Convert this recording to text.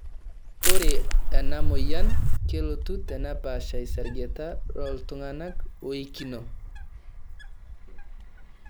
ORE ena moyian kelotu tenepaasha isargeta looltunganak oikino.